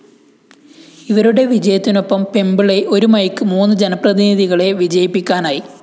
ഇവരുടെ വിജയത്തിനൊപ്പം പെമ്പിളൈ ഒരു മൈക്ക്‌ മൂന്ന് ജനപ്രതിനിധികളെ വിജയിപ്പിക്കാനായി